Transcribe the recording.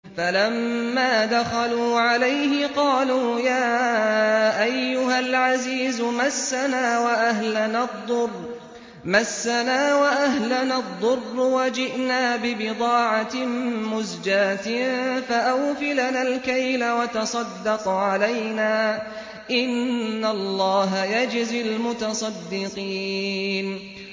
فَلَمَّا دَخَلُوا عَلَيْهِ قَالُوا يَا أَيُّهَا الْعَزِيزُ مَسَّنَا وَأَهْلَنَا الضُّرُّ وَجِئْنَا بِبِضَاعَةٍ مُّزْجَاةٍ فَأَوْفِ لَنَا الْكَيْلَ وَتَصَدَّقْ عَلَيْنَا ۖ إِنَّ اللَّهَ يَجْزِي الْمُتَصَدِّقِينَ